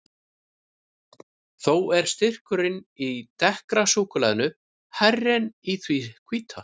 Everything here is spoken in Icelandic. Þó er styrkurinn í dekkra súkkulaðinu hærri en í því hvíta.